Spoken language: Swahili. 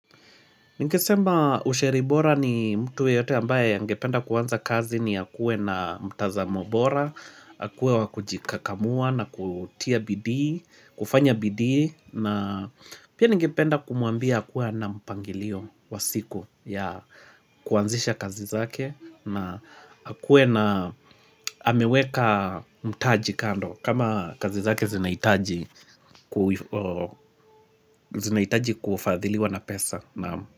Nikesemba usheribora ni mtuwe yote ambaye yangependa kuwanza kazi ni ya kuwe na mtazamobora, ya kuwe wakujikakamua na kutia bidii, kufanya bidii, na pia ningependa kumuambia ya kuwe na mpangilio wa siku ya kuanzisha kazi zake, na hakuwe na ameweka mtaji kando kama kazi zake zinahitaji zinaitaji kufadhiliwa na pesa naam.